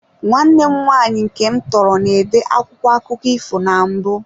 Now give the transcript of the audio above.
Nwanne m nwaanyị nke m tọrọ, na-ede akwụkwọ akụkọ ifo na mbụ.